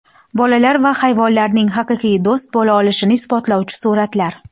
Bolalar va hayvonlarning haqiqiy do‘st bo‘la olishini isbotlovchi suratlar.